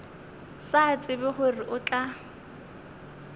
sa tsebe gore o tla